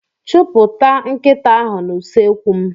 Chụpụta nkịta ahụ n'usekwu m.